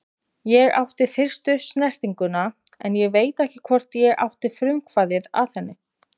Ég átti fyrstu snertinguna en ég veit ekki hvort ég átti frumkvæðið að henni.